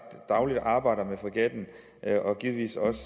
dagligt arbejder med fregatten og givetvis også